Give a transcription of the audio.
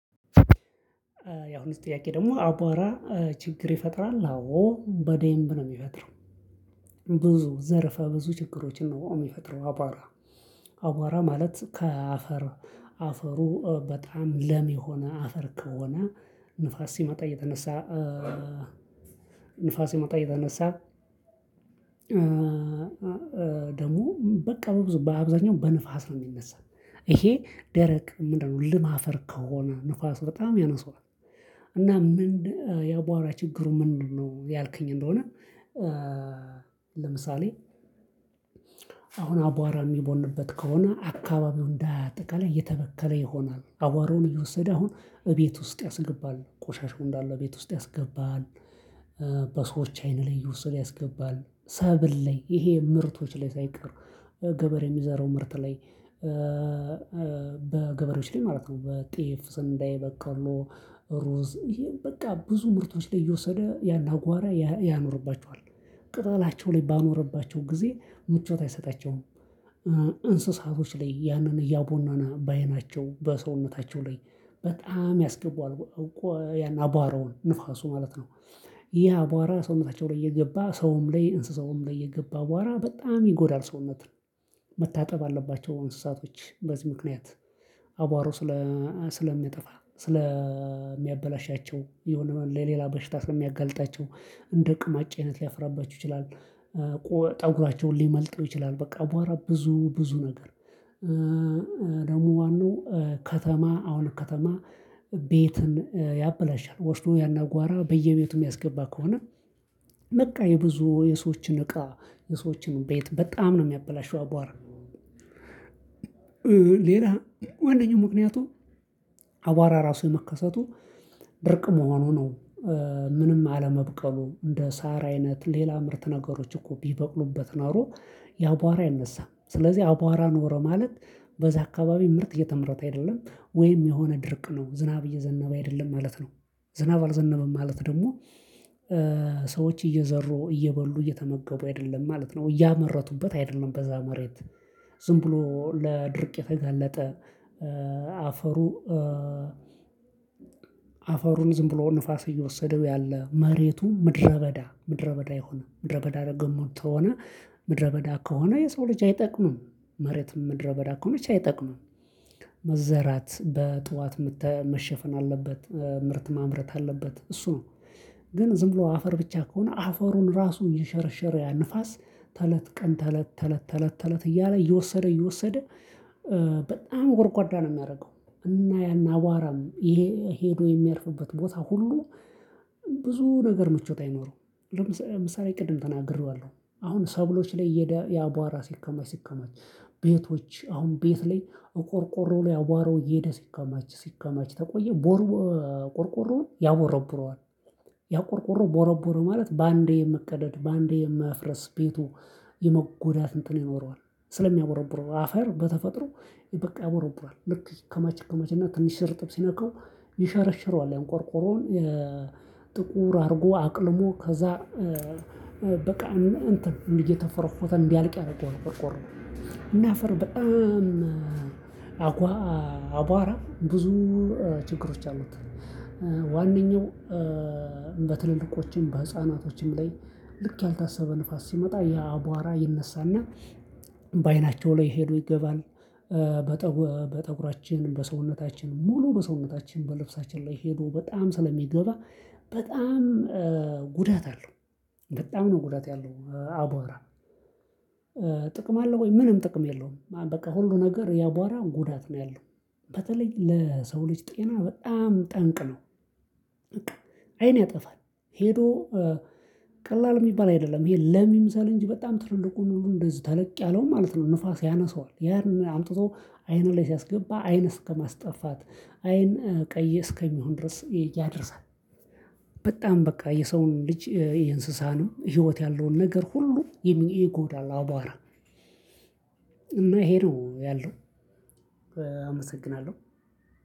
ያሁኑስ ጥያቄ ደግሞ አቧራ ችግር ይፈጥራል አዎ በዴምብ ነው የሚፈጥረው። ብዙ ዘርፈ ብዙ ችግሮችን ነው የሚፈጥረው አቧራ። አቧራ ማለት ከአፈር አፈሩ በጣም ለም የሆነ አፈር ከሆነ ንፋስ ሲመጣ እየተነሳ ንፋስ ሲመጣ እየተነሳ። ደግሞ በቃ በብዙ በአብዛኛው በንፋስ ነው የሚነሳው። ይሄ ደረቅ ምንድነው ልም አፈር ከሆነ ንፋሱ በጣም ያነሳዋል። እና ምንድ ያቧራ ችግሩ ምን ነው ያልከኝ እንደሆነ። ለምሳሌ አሁን አቧራ የሚቦንበት ከሆነ አካባቢው እንዳጠቃላይ የተበከለ ይሆናል አቧራውን እየወሰደ አሁን እቤት ውስጥ ያስገባል ቆሻሻው እንዳለ እቤት ውስጥ ያስገባል። በሰዎች አይን ላይ እየወሰደ ያስገባል ሰብል ላይ ይሄ ምርቶች ላይ ሳይቀር ገበሬ የሚዘራው ምርት ላይ። በገበሬዎች ላይ ማለት ነው በጤፍ ስንዴ በቀሎ ሩዝ ይሄም በቃ ብዙ ምርቶች ላይ እየወሰደ ያን አቧራ ያኖርባቸዋል። ቅጠላቸው ላይ ባኖረባቸው ጊዜ ምቾት አይሰጣቸውም። እንስሳቶች ላይ ያንን እያቦነነ በአይናቸው በሰውነታቸው ላይ በጣም ያስገባዋል አባራውን ንፋሱ ማለት ነው። ይሄ አቧራ ሰውነታቸው ላይ እየገባ ሰውም ላይ እንስሳውም ላይ የገባ አቧራ በጣም ይጎዳል ሰውነት። መታጠብ አለባቸው እንስሳቶች በዚህ ምክንያት አቧራው ስለ ስለሚያጠፋ ስለሚያበላሻቸው የሆነ ለሌላ በሽታ ስለሚያጋልጣቸው እንደ ቅማጭ አይነት ሊያፍራባችሁ ይችላል። ጠጉራቸውን ሊመልጠው ይችላል በቃ አቧራ ብዙ ብዙ ነገር። ደግሞ ዋናው ከተማ አሁን ከተማ ቤትን ያበላሻል ወስዶ ያን አቧራ በየቤቱ የሚያስገባ ከሆነ። በቃ የብዙ የሰዎችን እቃ የሰዎችን ቤት በጣም ነው የሚያበላሸው አቧር። ሌላ ወንድሙ ምክንያቱም አባራ ራሱ መከሰቱ ድርቅ መሆኑ ነው። ምንም አለመብቀሉ እንደ ሳር አይነት ሌላ ምርት ነገሮች እኮ ቢበቅሉበት ናሮ የአቧራ አይነሳም። ስለዚህ አቧራ ኖረ ማለት በዛ አካባቢ ምርት እየተመረተ አይደለም። ወይም የሆነ ድርቅ ነው ዝናብ እየዘነበ አይደለም ማለት ነው። ዝናብ አልዘነበም ማለት ደግሞ ሰዎች እየዘሩ እየበሉ እየተመገቡ አይደለም ማለት ነው እያመረቱበት አይደለም በዛ መሬት። ዝም ብሎ ለድርቅ የተገለጠ። አፈሩ አፈሩን ዝም ብሎ ንፋስ እየወሰደው ያለ መሬቱ ምድረ በዳ ምድረ በዳ የሆነ ምድረ በዳ ደግሞ ተሆነ ምድረ በዳ ከሆነ የሰው ልጅ አይጠቅምም። መሬትም ምድረ በዳ ከሆነች አይጠቅሙም። መዘራት በጧት መሸፈን አለበት ምርት ማምረት አለበት እሱ። ግን ዝም ብሎ አፈር ብቻ ከሆነ አፈሩን ራሱ እየሸረሸረ ያ ንፋስ ተለት ቀን ተለት ተለት ተለት ተለት እያለ እየወሰደ እየወሰደ በጣም ጎርጓዳ ነው የሚያደርገው። እና ያን አቧራም ይሄ ሄዶ የሚያርፍበት ቦታ ሁሉ ብዙ ነገር ምቾት አይኖረውም። ለምሳሌ ቅድም ተናግሬዋለሁ አሁን ሰብሎች ላይ እየሄደ ያቧራ ሲከማች ሲከማች ቤቶች አሁን ቤት ላይ እቆርቆሮ ላይ አቧራው እየሄደ ሲከማች ሲከማች ተቆየ ቆርቆሮውን ያቦረቡረዋል። ያ ቆርቆሮ ቦረቦረ ማለት በአንዴ መቀደድ በአንዴ መፍረስ ቤቱ የመጎዳት እንትን ይኖረዋል። ስለሚያቦረቡረው አፈር በተፈጥሮ በቃ ያቦረቡራል ልክ ይከማች ይከማች እና ትንሽ እርጥብ ሲነካው ይሸረሽረዋል ያን ቆርቆሮውን። ጥቁር አድርጎ አቅልሞ ከዛ በቃ እንትን እየተፎረፎተ እንዲያልቅ አረገዋል ቆርቆሮ። እና አፈር በጣም አባራ ብዙ ችግሮች አሉት። ዋናኛው በትልልቆችም በህፃናቶችም ላይ ልክ ያልታሰበ ንፋስ ሲመጣ የአቧራ ይነሳና በአይናቸው ላይ ሄዶ ይገባል። በተጉራ በጠጉራችን በሰውነታችን ሙሉ በሰውነታችን በልብሳችን ላይ ሄዶ በጣም ስለሚገባ በጣም ጉዳት አለው። በጣም ነው ጉዳት ያለው አቧራ። ጥቅም አለው ወይ ምንም ጥቅም የለውም? በቃ ሁሉ ነገር የአቧራ ጉዳት ነው ያለው። በተለይ ለሰው ልጅ ጤና በጣም ጠንቅ ነው። በቃ አይን ያጠፋል። ሄዶ ቀላል የሚባል አይደለም ይሄ ለም ይምሰል እንጂ በጣም ትልልቁን ሁሉ እንደዚህ ተለቅ ያለው ማለት ነው። ንፋስ ያነሳዋል ያን አምጥቶ አይኑ ላይ ሲያስገባ አይን እስከማስጠፋት አይን ቀይ እስከሚሆን ድረስ ያደርሳል። በጣም በቃ የሰውን ልጅ የእንስሳንም ህይወት ያለውን ነገር ሁሉ ይጎዳል አባራ። እና ይሄ ነው ያለው። አመሰግናለሁ።